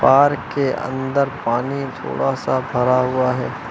Park के अंदर पानी थोड़ा सा भरा हुआ है।